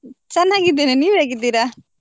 ಚನ್ನಾಗಿದ್ದೇನೆ ನೀವ್ ಹೇಗಿದ್ದೀರಾ?